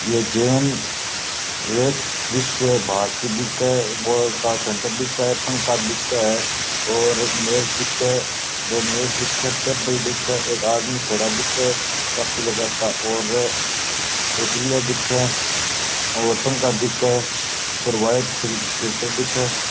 ये जैन विश्व भारती दिखे बोर्ड का सेण्टर दिखे पंखा दिखे है और मेज दिखे है दो मेज़ दिखे टेबल दिखे है एक आदमी खड़ा दिखे कॉपी लगाता और एक ग्रिल दिखे और पंखा दिखे और वाइट फ़िल्टर दिखे।